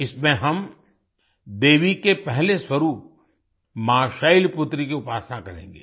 इसमें हम देवी के पहले स्वरूप माँ शैलपुत्री की उपासना करेंगे